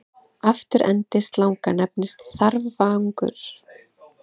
Afturendi slanga nefnist þarfagangur.